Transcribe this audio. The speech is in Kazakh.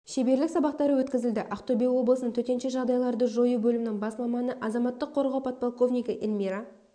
шеберлік сабақтары өткізілді ақтөбе облысының төтенше жағдайларды жою бөлімінің бас маманы азаматтық қорғау подполковнигі эльмира